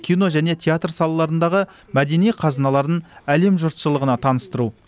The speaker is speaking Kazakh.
кино және театр салаларындағы мәдени қазыналарын әлем жұртшылығына таныстыру